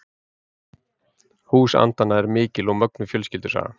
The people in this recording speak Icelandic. Hús andanna er mikil og mögnuð fjölskyldusaga.